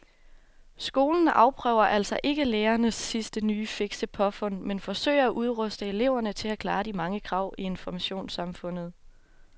Skolen afprøver altså ikke lærernes sidste nye fikse påfund men forsøger at udruste eleverne til at klare de mange krav i informationssamfundet.